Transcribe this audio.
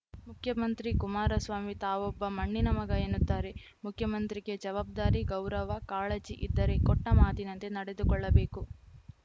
ಮುಖ್ಯಮಂತ್ರಿ ಕುಮಾರಸ್ವಾಮಿ ತಾವೊಬ್ಬ ಮಣ್ಣಿನ ಮಗ ಎನ್ನುತ್ತಾರೆ ಮುಖ್ಯಮಂತ್ರಿಗೆ ಜವಾಬ್ದಾರಿ ಗೌರವ ಕಾಳಜಿ ಇದ್ದರೆ ಕೊಟ್ಟಮಾತಿನಂತೆ ನಡೆದುಕೊಳ್ಳಬೇಕು